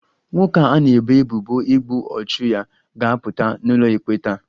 Nwoke a na-ebo ebubo igbu ọchụ ya ga-apụta n'ụlọikpe taa